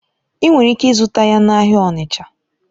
Ị nwere ike ịzụta ya n'ahịa Onicha.